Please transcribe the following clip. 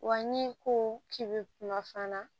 Wa ni ko k'i be kunnafoniya